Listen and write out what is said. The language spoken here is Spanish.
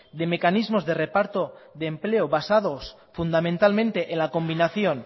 de mecanismos de reparto de empleo basados fundamentalmente en la combinación